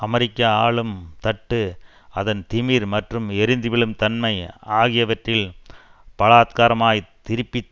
அமெரிக்க ஆளும் தட்டு அதன் திமிர் மற்றும் எரிந்து விழும் தன்மை ஆகியவற்றில் பலாத்காரமாய்த் திருப்பி